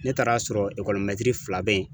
Ne taara sɔrɔ fila be yen